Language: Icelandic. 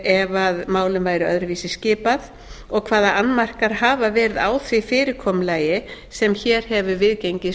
ef málum væri öðruvísi skipað og hvaða annmarkar hafa verið á því fyrirkomulagi sem hér hefur viðgengist